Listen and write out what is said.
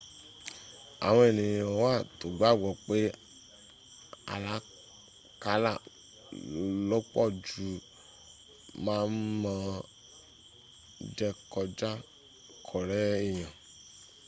àwọn èyàn wà tó gbàgbọ́ pé àlákálà lọ́pọ̀jù ma n ma n jẹ́ kó rę èyàn